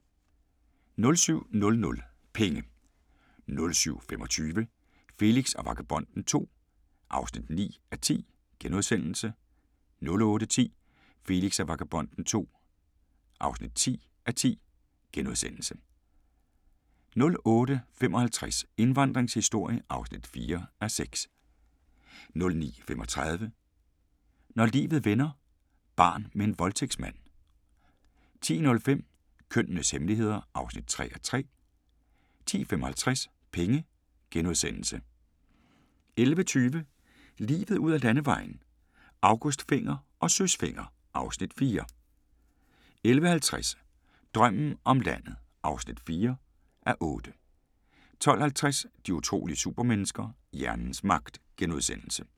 07:00: Penge 07:25: Felix og Vagabonden II (9:10)* 08:10: Felix og Vagabonden II (10:10)* 08:55: Indvandringens historie (4:6) 09:35: Når livet vender – barn med en voldtægtsmand 10:05: Kønnenes hemmeligheder (3:3) 10:55: Penge * 11:20: Livet ud ad Landevejen: August Fenger og Søs Fenger (Afs. 4) 11:50: Drømmen om landet (4:8) 12:50: De utrolige supermennesker – hjernens magt *